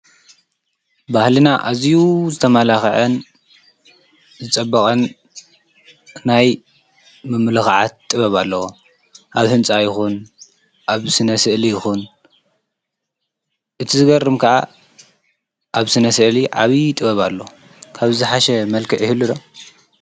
ባህልና እዝ ዝተማላኽዐን ዝጸበቐን ናይ ምምለኽዓት ጥበብ ኣለ ኣብ ሕንፃ ይኹን ኣብ ስነስኤል ይኹን እቲ ዝገርም ከዓ ኣብ ስነሰኤሊ ዓብዪ ጥበብ ኣሎ ካብዝሓሸ መልከ ይህሉ ዶ?